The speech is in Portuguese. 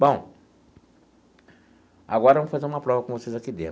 Bom, agora eu vou fazer uma prova com vocês aqui dentro.